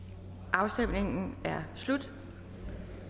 afstemningen er slut